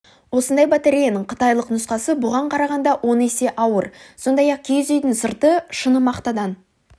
осындай батареяның қытайлық нұсқасы бұған қарағанда он есе ауыр сондай-ақ киіз үйдің сырты шыны мақтадан